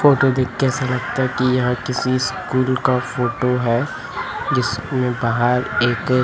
photo देख के ऐसा लगता हैं कि यह किसी स्कूल का फोटो है जिसमें बाहर एक--